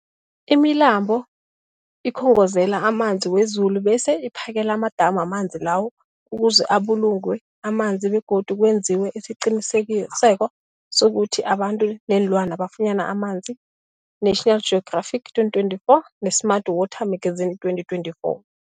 Imilambo ikhongozela amanzi wezulu bese iphakele amadamu amanzi lawo ukuze abulungwe amanzi begodu kwenziwe isiqiniseko sokuthi abantu neenlwana bafunyana amanzi, National Geographic 2024, ne-Smart Water Magazine 2024.